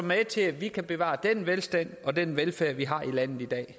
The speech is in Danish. med til at vi kan bevare den velstand og den velfærd vi har i landet i dag